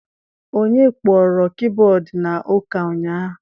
Onye kpọrọ kiiboodu na ụka ụnyaahụ?